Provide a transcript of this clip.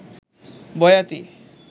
বয়াতী